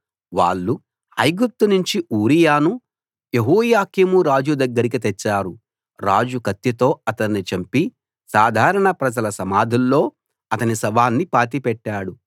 వాళ్ళు ఐగుప్తు నుంచి ఊరియాను యెహోయాకీం రాజు దగ్గరికి తెచ్చారు రాజు కత్తితో అతణ్ణి చంపి సాధారణ ప్రజల సమాధుల్లో అతని శవాన్ని పాతిపెట్టాడు